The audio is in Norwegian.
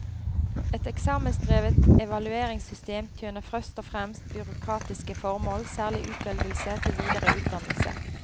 Et eksamensdrevet evalueringssystem tjener først og fremst byråkratiske formål, særlig utvelgelse til videre utdannelse.